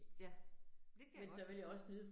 Ja, det kan jeg godt forstå